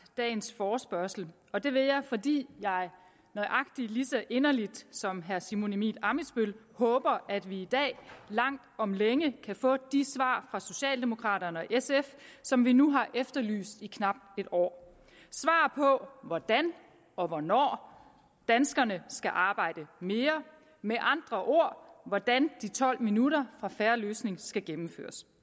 dagens forespørgsel og det vil jeg fordi jeg nøjagtig lige så inderligt som herre simon emil ammitzbøll håber at vi i dag langt om længe kan få de svar fra socialdemokraterne og sf som vi nu har efterlyst i knap et år på hvordan og hvornår danskerne skal arbejde mere med andre ord hvordan de tolv minutter fra en fair løsning skal gennemføres